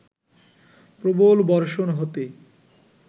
প্রবল বর্ষণ হতে